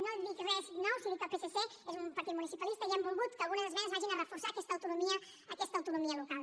no dic res nou si dic que el psc és un partit municipalista i hem volgut que algunes esmenes reforcin aquesta autonomia aquesta autonomia local